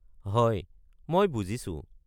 হয়, মই বুজিছো।